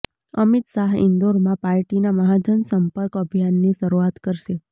અમિત શાહ ઈન્દોરમાં પાર્ટીના મહાજનસંપર્ક અભિયાનની શરૂઆત કરશે